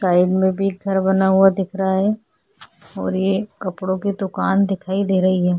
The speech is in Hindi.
साइड में भी एक घर बना हुआ दिख रहा है और ये कपड़ों की दुकान दिख रही है।